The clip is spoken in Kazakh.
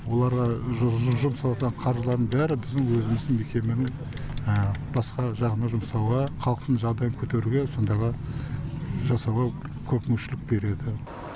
оларға жұмсалатын қаржылардың бәрі біздің өзіміздің мекеменің басқа жағына жұмсауға халықтың жағдайын көтеруге сондайға жасауға көп мүмкіншілік береді